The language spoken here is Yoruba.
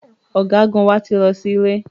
Ọ̀gágun wa ti lọ sí ilé